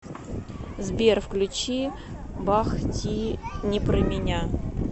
сбер включи бах ти не про меня